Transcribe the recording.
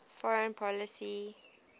foreign policy e